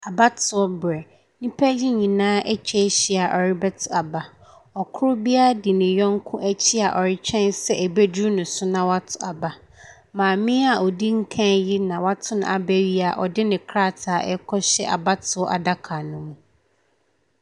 Abatoberɛ, nnipa ne nyinaa atwa ahyia wɔrebɛto aba. Kor biara di nyɔnko akyi a ɔretwɛn sɛ ɛbɛduru ne so na wato aba. Maame a odi kan yi na wato n’aba yi a ɔde ne krataa ɛrekɔto abatoɔ adaka ne mu.